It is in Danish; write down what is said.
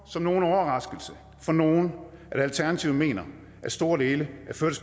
som nogen overraskelse for nogen at alternativet mener at store dele